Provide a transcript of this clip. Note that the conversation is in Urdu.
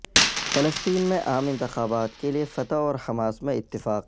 فلسطین میں عام انتخابات کے لیے فتح اور حماس میں اتفاق